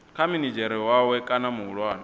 kha minidzhere wawe kana muhulwane